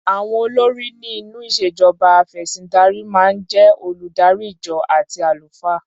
Àwọn olórí ni inú ìṣèjọba afẹ̀sìndarímáa ń jé oludari ìjọ àti àlùfáà.